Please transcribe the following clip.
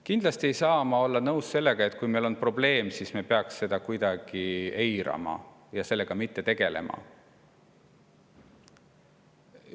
Kindlasti ei saa ma olla nõus sellega, et kui meil on probleem, siis me peaksime seda kuidagi eirama ja sellega mitte tegelema.